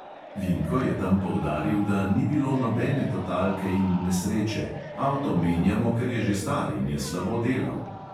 Vinko je tam poudaril, da "ni bilo nobene totalke in nesreče, avto menjamo, ker je že star in je slabo delal".